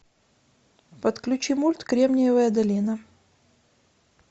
подключи мульт кремниевая долина